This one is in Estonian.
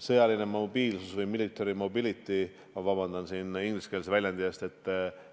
sõjaline mobiilsus ehk military mobility – vabandust ingliskeelse väljendi eest!